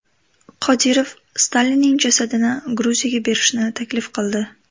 Qodirov Stalinning jasadini Gruziyaga berishni taklif qildi.